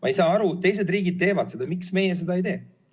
Ma ei saa aru: teised riigid teevad seda, miks meie seda ei tee?